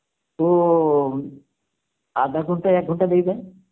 ও আধা ঘন্টা এক গন্টা দেরিতে হয়